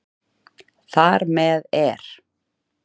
Þar með er